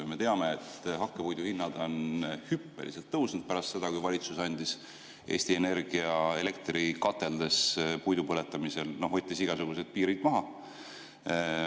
Ja me teame, et hakkepuidu hinnad on hüppeliselt tõusnud pärast seda, kui valitsus võttis Eesti Energia elektrikateldes puidu põletamisel igasugused piirid maha.